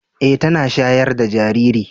Eh tana shayar da jariri.